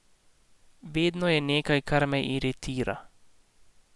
Vedno je nekaj, kar me iritira.